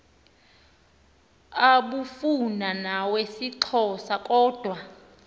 abufana nawesixhosa kodwa